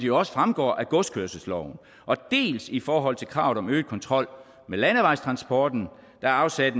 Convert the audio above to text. jo også fremgår af godskørselsloven dels i forhold til kravet om øget kontrol med landevejstransporten der er afsat